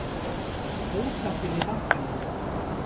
Ósáttir við bankana